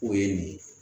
O ye nin ye